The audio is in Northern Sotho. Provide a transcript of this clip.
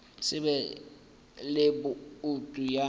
se be le boutu ya